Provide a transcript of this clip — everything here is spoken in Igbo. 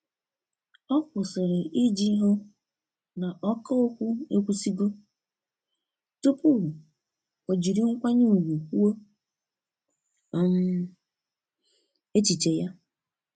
ọ kwụsiri iji hụ na ọka okwu ekwusigo, tụpụ o jiri nkwanye ùgwù kwuo um echiche ya.